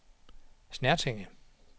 Snertinge